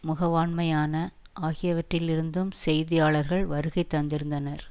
முகவாண்மையான ஆகியவற்றிலிருந்தும் செய்தியாளர்கள் வருகை தந்திருந்தனர்